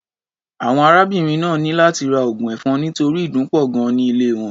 Àwọn arábìnrin náà ní láti ra oògùn ẹ̀fọn nítorí ìdun pọ̀ gan-an ní ilé wọn.